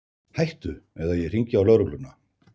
Hættu eða ég hringi á lögregluna!